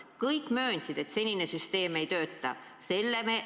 Kõik möönsid, et senine süsteem ei tööta.